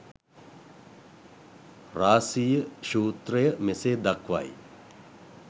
රාසීය සූත්‍රය මෙසේ දක්වයි.